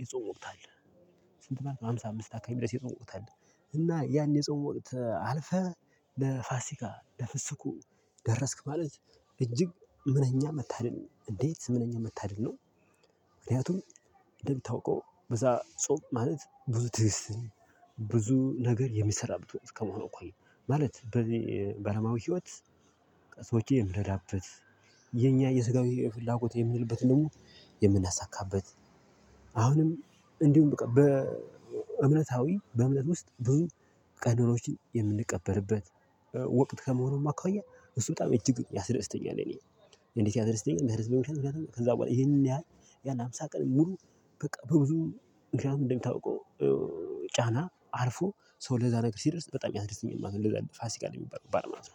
የጾም ወቅት አለ? ስንት ማለት ሃምሳ አምስት አካባቢ ድረስ የጾም ወቅት አለ። እና ያን የጸው ወቅት አልፈህ ለፋሲካ ለፍስኩ ደረስክ ማለት እጅግ ምነኛ መታደል እንዴት ምነኛ መታደል ነው። ምክንያቱም እንደምታውቀው በዛ ጾም ማለት ብዙ ትዕስትን ብዙ ነገር የሚሰራበት ከመሆኑ እኮ ነው። ማለት በዚህ በአለማዊ ህይወት። በቃ ሰዎችን የምንረዳበት የኛ የስጋዊ ፍላጎት የምንልበትን ደግሞ የምናሳካበት። አሁንም እንዲሁም በቃ በእምነታዊ በእምነት ውስጥ ብዙ ቀኖናዎችንን የምንቀበርበት ወቅት ከመሆኑ የማኳያ እሱ በጣም እጅግ ያስደስተኛል። እኔ እንዴት ያስደስተኛል መርዘሙ ብቻ ምክንያቱም ከዛ በኋላ ይሄን ያህል ያለ ሃምሳ ቀን ሙሉ በቃ በብዙ ምክንያት እንደሚታውቀው። ጫና አልፎ ሰው ለዛ ነገር ሲደርስ በጣም ያደርስኛል ማለት ነው። ለዛ ነው ፋሲካ ነው የሚባለው በዓለ አምሳ